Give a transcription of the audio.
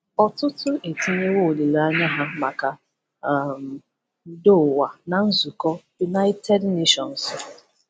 Ọtụtụ etinyeewo olileanya ha maka um udo ụwa na nzukọ Unaịtedi Neshọnsu.